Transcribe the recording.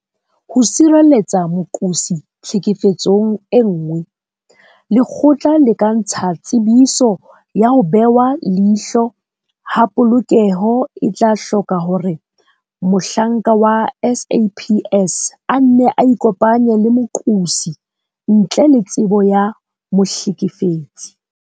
Ho sireletsa moqosi tlhekefetsong e nngwe, lekgotla le ka ntsha Tsebiso ya ho Behwa leihlo ha Polokeho e tla hloka hore mohlanka wa SAPS a nne a ikopanye le moqosi ntle le tsebo ya mohlekefetsi.